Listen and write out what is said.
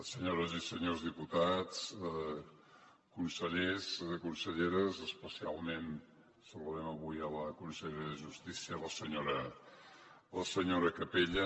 senyores i senyors diputats consellers conselleres especialment saludem avui la consellera de justícia la senyora capella